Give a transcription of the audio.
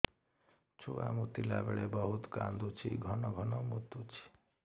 ଛୁଆ ମୁତିଲା ବେଳେ ବହୁତ କାନ୍ଦୁଛି ଘନ ଘନ ମୁତୁଛି